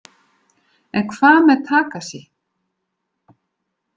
En hvað með Takashi?